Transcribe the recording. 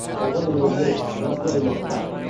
қалған өңірлер жасыл аймақта